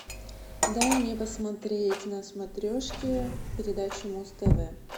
дай мне посмотреть на смотрешке передачу муз тв